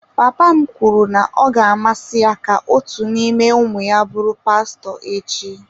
Papa m kwuru na ọ ga-amasị ya ka otu n'ime ụmụ ya bụrụ pastọ echi.